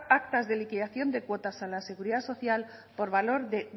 actas de liquidación de cuotas a la seguridad social por valor de